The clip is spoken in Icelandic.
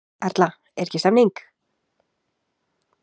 Erla, er ekki stemning?